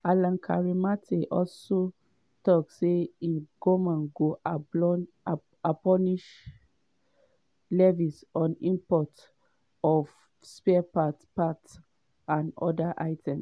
alan kyerema ten also tok say im goment go abolish levies on import of spare parts parts and oda items.